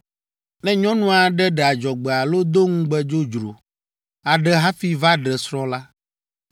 “Ne nyɔnu aɖe ɖe adzɔgbe alo do ŋugbe dzodzro aɖe hafi va ɖe srɔ̃ la,